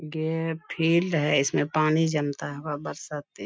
ये फील्ड है इसमें पानी जमता होगा बरसाती।